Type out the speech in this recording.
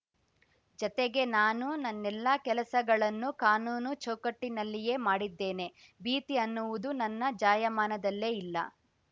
ಜತೆಗೆ ನಾನು ನನ್ನೆಲ್ಲ ಕೆಲಸಗಳನ್ನು ಕಾನೂನು ಚೌಕಟ್ಟಿನಲ್ಲಿಯೇ ಮಾಡಿದ್ದೇನೆ ಭೀತಿ ಅನ್ನುವುದು ನನ್ನ ಜಾಯಮಾನದಲ್ಲೇ ಇಲ್ಲ